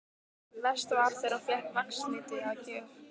Verst var þegar hún fékk vaxliti að gjöf.